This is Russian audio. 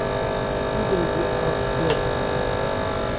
судороги аш д